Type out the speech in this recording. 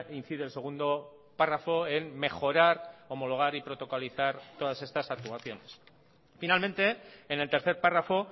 incide el segundo párrafo en mejorar homologar y protocolizar todas estas actuaciones finalmente en el tercer párrafo